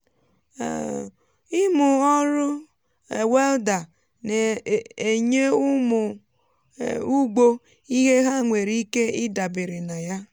um ịmụ ọrụ um welda na-enye ụmụ um ugbo ihe ha nwere ike ịdabere na ya.